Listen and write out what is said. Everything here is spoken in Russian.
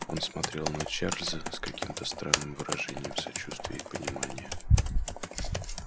он смотрел на чарлза с каким-то странным выражением сочувствия и понимания